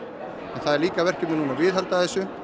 en það er líka verkefni núna að viðhalda þessu